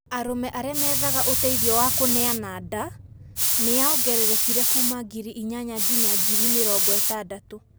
Arũme aria meethaga ũteithio wa kuneana ndaa niyaongererekire kuuma ngiri inyanya nginya ngiri mĩrongo ĩtandatũ.